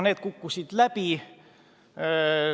Need kukkusid läbi.